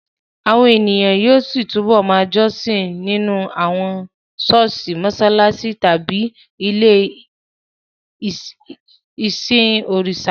Àwọn ènìyàn yóò túbọ̀ ma jọ́sìn nínú àwọn ṣọ́ọ̀ṣì, mọṣáláṣí tàbí àwọn ilé-ìsìn òrìṣà